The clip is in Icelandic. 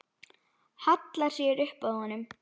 Hallar sér upp að honum.